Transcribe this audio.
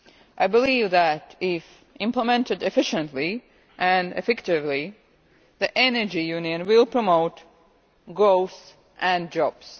I believe that if implemented efficiently and effectively, the Energy Union will promote growth and jobs.